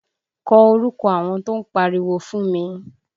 Kọ orúkọ àwọn tó ń pariwo fún mi!